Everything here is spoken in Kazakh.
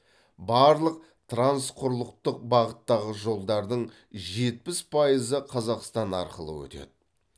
барлық трансқұрлықтық бағыттағы жолдардың жетпіс пайызы қазақстан арқылы өтеді